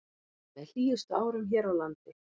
Með hlýjustu árum hér á landi